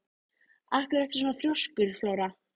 Af hverju ertu svona þrjóskur, Flóra?